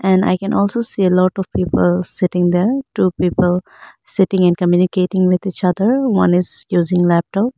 And I can also see a lot of people sitting there two people sitting and communicating with each other one is using laptop.